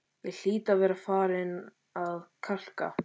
Ég hlýt að vera farin að kalka,